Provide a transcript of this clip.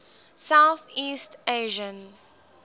south east asian